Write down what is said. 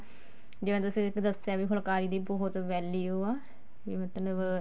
ਜਿਵੇਂ ਤੁਸੀਂ ਦੱਸਿਆ ਵੀ ਫੁਲਕਾਰੀ ਦੀ ਬਹੁਤ value ਆ ਵੀ ਮਤਲਬ